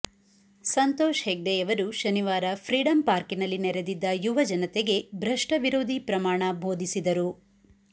ಸಂತೋಷ್ ಹೆಗ್ಡೆಯವರು ಶನಿವಾರ ಫ್ರೀಡಂ ಪಾರ್ಕಿನಲ್ಲಿ ನೆರೆದಿದ್ದ ಯುವಜನತೆಗೆ ಭ್ರಷ್ಟವಿರೋಧಿ ಪ್ರಮಾಣ ಬೋಧಿಸಿದರು